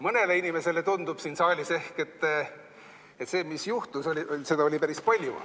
Mõnele inimesele tundub siin saalis ehk, et seda, mis juhtus, oli päris palju.